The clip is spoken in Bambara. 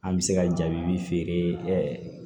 An bɛ se ka jaabi feere